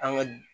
An ka